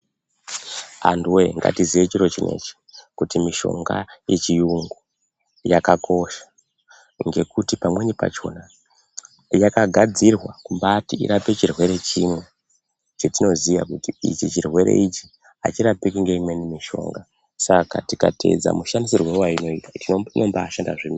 Antuwe ngati ziye chiro chinechi kuti mishonga ye chiyungu yaka kosha ngekuti pamweni pachona yaka gadzirwa kumbaiti irape chirwere chimwe chetino ziya kuti ichi chirwere ichi achi rapiki nge imweni mishonga saka tika tedza mu shandisirwo wai noitwa inombai shanda zvemene.